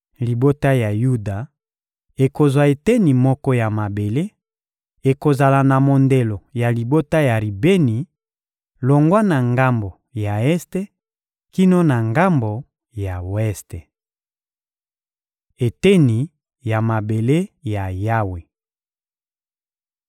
Libota ya Yuda ekozwa eteni moko ya mabele: ekozala na mondelo ya libota ya Ribeni, longwa na ngambo ya este kino na ngambo ya weste. Eteni ya mabele ya Yawe